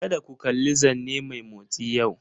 Kada ku kalli zanne mai motsi yau!